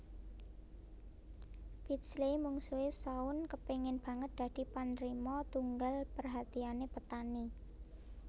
Pidsley Mungsuhe Shaun kepingin banget dadi panrima tunggal perhatiane Petani